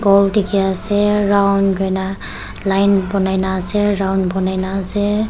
ball dikhi ase round kuri na line bonai na ase round bonai na ase.